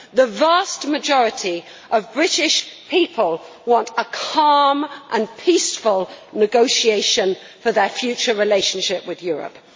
The vast majority of British people want a calm and peaceful negotiation for their future relationship with Europe.